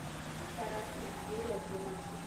каратель серия тринадцать